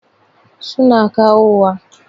Su na kawowa.